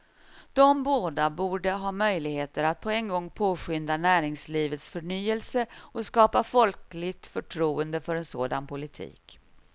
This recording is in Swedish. De båda borde ha möjligheter att på en gång påskynda näringslivets förnyelse och skapa folkligt förtroende för en sådan politik.